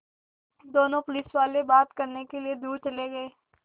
दोनों पुलिसवाले बात करने के लिए दूर चले गए